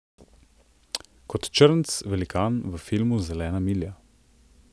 Kot črnec velikan v filmu Zelena milja.